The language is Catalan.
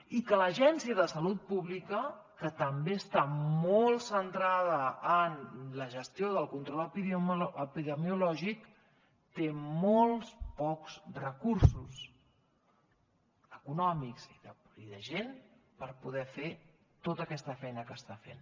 i que l’agència de salut pública que també està molt centrada en la gestió del control epidemiològic té molts pocs recursos econòmics i de gent per poder fer tota aquesta feina que està fent